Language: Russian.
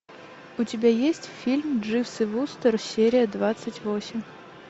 у тебя есть фильм дживс и вустер серия двадцать восемь